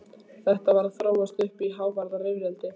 Þetta var að þróast uppí hávaðarifrildi.